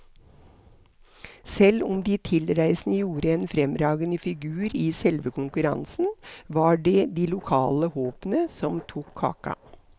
Selv om de tilreisende gjorde en fremragende figur i selve konkurransen, var det de lokale håpene som tok kaka.